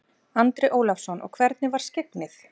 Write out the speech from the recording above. Andri Ólafsson: Og hvernig var skyggnið?